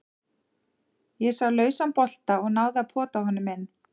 Ég sá lausan bolta og náði að pota honum inn.